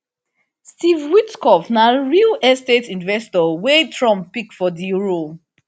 steve witkoff na real estate investor wey trump pick for di role